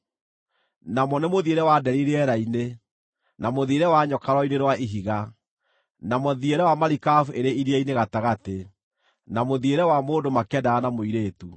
namo nĩ mũthiĩre wa nderi rĩera-inĩ, na mũthiĩre wa nyoka rwaro-inĩ rwa ihiga, na mũthiĩre wa marikabu ĩrĩ iria-inĩ gatagatĩ, na mũthiĩre wa mũndũ makĩendana na mũirĩtu.